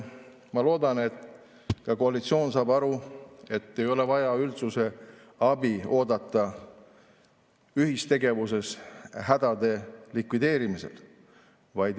Ma loodan, et ka koalitsioon saab aru, et ei ole vaja üldsuse abi oodata ühistegevuses hädade likvideerimisel.